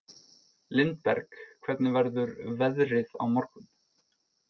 Lindberg, hvernig verður veðrið á morgun?